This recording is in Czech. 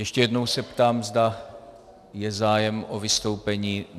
Ještě jednou se ptám, zda je zájem o vystoupení.